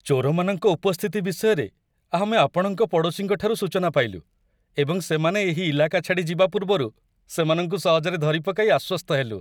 ଚୋରମାନଙ୍କ ଉପସ୍ଥିତି ବିଷୟରେ ଆମେ ଆପଣଙ୍କ ପଡ଼ୋଶୀଙ୍କଠାରୁ ସୂଚନା ପାଇଲୁ ଏବଂ ସେମାନେ ଏହି ଇଲାକା ଛାଡ଼ି ଯିବା ପୂର୍ବରୁ ସେମାନଙ୍କୁ ସହଜରେ ଧରିପକାଇ ଆଶ୍ୱସ୍ତ ହେଲୁ।